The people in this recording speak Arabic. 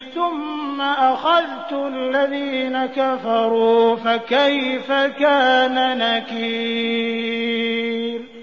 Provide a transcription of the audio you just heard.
ثُمَّ أَخَذْتُ الَّذِينَ كَفَرُوا ۖ فَكَيْفَ كَانَ نَكِيرِ